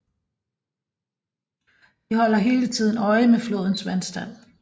De holder hele tiden øje med flodens vandstand